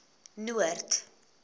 noord